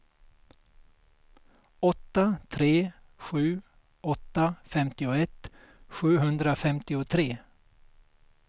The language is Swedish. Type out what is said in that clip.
åtta tre sju åtta femtioett sjuhundrafemtiotre